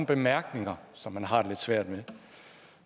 bemærkninger som man har det lidt svært med